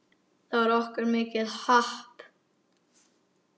Það var okkur mikið happ.